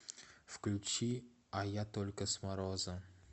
включи а я только с мороза